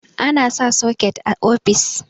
ana sa soket a ofis